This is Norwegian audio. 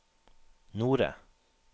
Nore